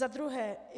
Za druhé.